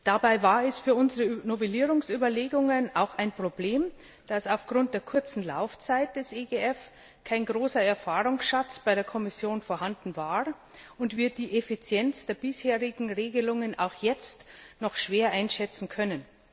Dabei war es für unsere Novellierungsüberlegungen auch ein Problem, dass aufgrund der kurzen Laufzeit des EGF kein großer Erfahrungsschatz bei der Kommission vorhanden war und wir die Effizienz der bisherigen Regelungen auch jetzt noch schwer einschätzen können.